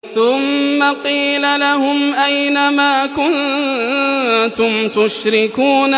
ثُمَّ قِيلَ لَهُمْ أَيْنَ مَا كُنتُمْ تُشْرِكُونَ